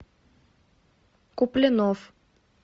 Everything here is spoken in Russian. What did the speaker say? куплинов